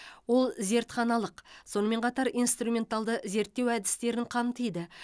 ол зертханалық сонымен қатар инструменталды зерттеу әдістерін қамтиды